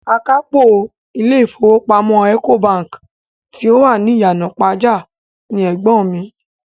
Akápò ilé ìfowópamọ́ Ecobank tí ó wà ní Ìyànàpájà ni ẹ̀gbọ́n mi.